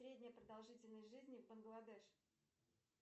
средняя продолжительность жизни в бангладеш